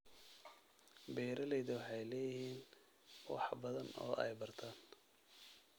Beeralayda waxay leeyihiin wax badan oo ay bartaan.